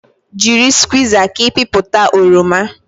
Jiri skwuiza ka ịpịpụta oroma